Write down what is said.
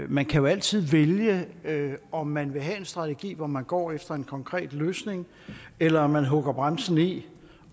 man kan jo altid vælge om man vil have en strategi hvor man går efter en konkret løsning eller om man vil hugge bremsen i